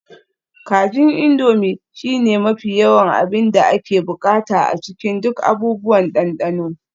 Kajin Indomie shine mafi yawan abin da ake buƙata a cikin duk abubuwan dandano